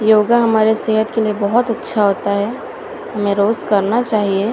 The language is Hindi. योगा हमारे सेहत के लिए बहोत है अच्छा होता हैं हमें रोज करना चाहिए।